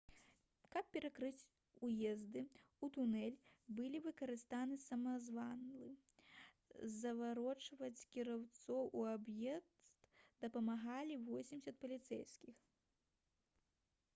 каб перакрыць уезды ў тунэль былі выкарыстаны самазвалы заварочваць кіроўцаў у аб'езд дапамагалі 80 паліцэйскіх